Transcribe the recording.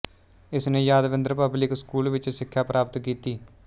ਇਸਨੇ Yadavindra public school ਵਿੱਚ ਸਿੱਖਿਆ ਪ੍ਰਾਪਤ ਕੀਤੀ